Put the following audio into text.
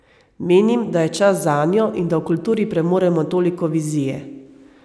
Menim, da je čas zanjo in da v kulturi premoremo toliko vizije.